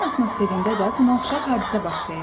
Yerin atmosferində də buna oxşar hadisə baş verir.